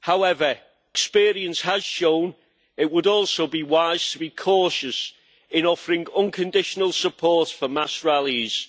However, experience has shown it would also be wise to be cautious in offering unconditional support for mass rallies,